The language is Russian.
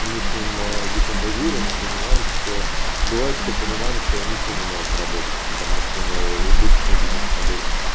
и мы с ним декомпозируем мы понимаем что бывает что понимаем что он ничего не может заработать потому что у него убыточный бизнес модель